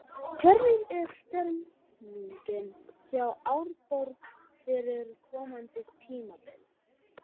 Hvernig er stemningin hjá Árborg fyrir komandi tímabil?